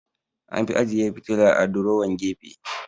An fi ajeyi fitila a durowan gefe